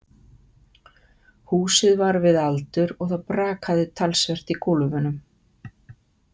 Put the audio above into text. Húsið var við aldur og það brakaði talsvert í gólfunum.